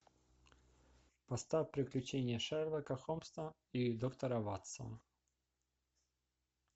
поставь приключения шерлока холмса и доктора ватсона